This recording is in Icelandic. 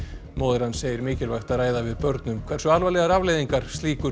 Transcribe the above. móðir hans segir mikilvægt að ræða við börn um hversu alvarlegar afleiðingar slíkur